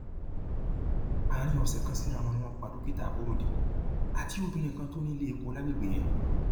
àárín ọsẹ kan síra wọn ni wọn pa dókítà aborode àti obìnrin kan tó ní iléepo lágbègbè yẹn